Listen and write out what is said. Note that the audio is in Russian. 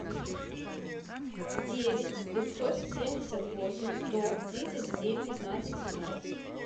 девять пятьсот семьдесят восемь сто тридцать семь пятнадцать семнадцать